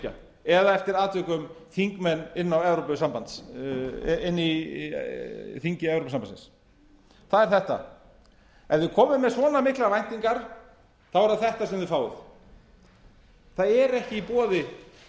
evrópusambandsríkja eða eftir atvikum þingmenn inni í þingi evrópusambandsins það er þetta ef þið komið með svona miklar væntingar er það þetta sem við fáum það eru ekki í boði